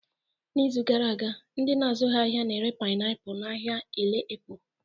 N'izu gara aga, ndị na-azụghị ahịa na-ere painiapulu n'ahịa Ile Epo